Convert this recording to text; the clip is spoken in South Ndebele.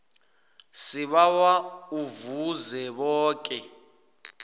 sibawa uveze boke